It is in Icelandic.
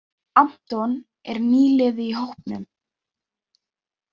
Anton er nýliði í hópnum.